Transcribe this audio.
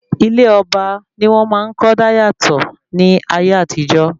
Ilé ọba ni wọ́n máa ń kọ́ dáyàtọ̀ ní ayé àtijọ́